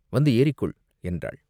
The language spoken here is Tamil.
வந்து ஏறிக்கொள்!" என்றாள்.